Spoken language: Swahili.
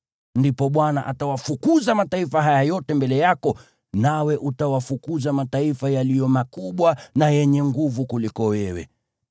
ndipo Bwana atawafukuza mataifa haya yote mbele yako, nawe utawafukuza mataifa yaliyo makubwa na yenye nguvu kukuliko wewe.